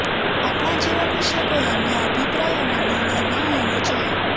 આપણા જીવન વિશે કોઈ અન્ય અભિપ્રાય અને નિર્ણય ન હોવો જોઈએ